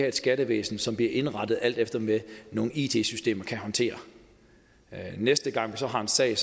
et skattevæsen som bliver indrettet alt efter hvad nogle it systemer kan håndtere næste gang vi så har en sag